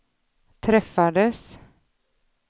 träffades